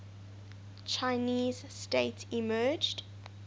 chinese state emerged